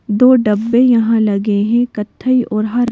दो डब्बे यहां लगे हैं कथई और हर --